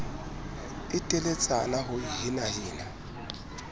e teletsana ho e henahena